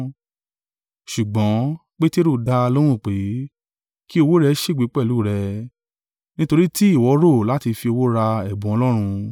Ṣùgbọ́n Peteru dá a lóhùn wí pé, “Kí owó rẹ ṣègbé pẹ̀lú rẹ, nítorí tí ìwọ rò láti fi owó ra ẹ̀bùn Ọlọ́run!